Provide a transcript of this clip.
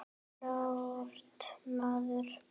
Klárt, maður!